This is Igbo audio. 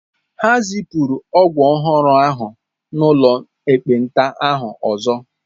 Ha zipụrụ ọgwụ ọhụrụ ahụ n'ụlọ ekpenta ahụ ọzọ.